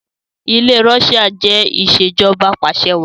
ilé Russia ṣe Ìṣèjọba Apàṣẹwàá